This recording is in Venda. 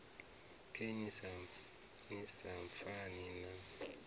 khe ni sa pfani na